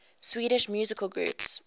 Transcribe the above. swedish musical groups